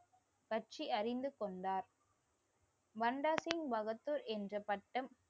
பற்றி அறிந்து கொண்டார் வந்தாசிங் பகத்து என்ற பட்டம்